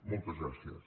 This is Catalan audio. moltes gràcies